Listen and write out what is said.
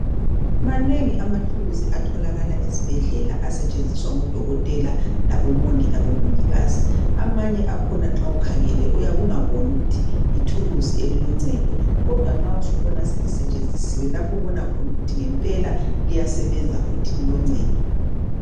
manengi amathuluzi atholakala esibhedlela asetshenziswa ngo dokotela labo mongi lamongikazi amanye akhona nxa ukhangele uyabe ungaboni ukuthi yithuluzi eliloncedo kodwa nxa usubona selisetshenzisiwe lapho obona khona ukuthi ngempela liyasebenza futhi liloncedo